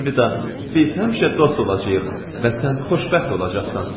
“Biz həmişə dost olacağıq və sən xoşbəxt olacaqsan.”